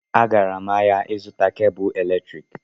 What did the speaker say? Agara m ahịa ịzụta kebụ eletriki